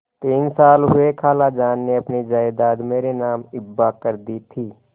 तीन साल हुए खालाजान ने अपनी जायदाद मेरे नाम हिब्बा कर दी थी